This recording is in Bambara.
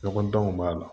Ɲɔgɔn danw b'a la